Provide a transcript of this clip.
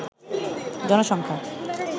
জনসংখ্যা